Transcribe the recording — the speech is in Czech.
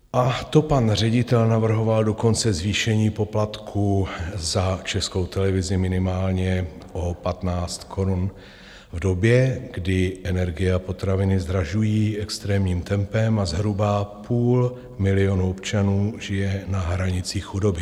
A to pan ředitel navrhoval dokonce zvýšení poplatků za Českou televizi minimálně o 15 korun v době, kdy energie a potraviny zdražují extrémním tempem a zhruba půl milionu občanů žije na hranici chudoby.